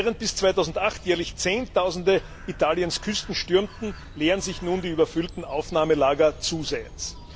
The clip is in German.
Während bis 2008 jährlich Zehntausende Italiens Küsten stürmten, leeren sich nun die überfüllten Aufnahmelager zusehends.